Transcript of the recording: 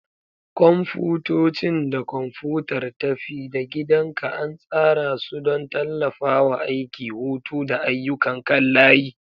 Kwamfutocin da kwamfutar tafi-da-gidanka an tsara su don tallafawa aiki, hutu, da ayyukan kan layi.